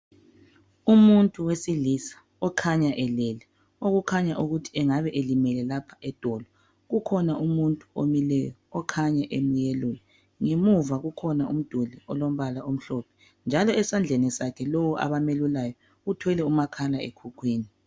Umuntu wesilisa okhanya elele. Okukhanya ukuthi angabe elimele kapha edolo.,Kukhoba umuntu omileyo, okhanya emelula. Ngemuva kukhona umduli, olombala omhlophe. Njalo esandleni sakhe, lowo abamelulayo, uthwele umakhalekhukhwini.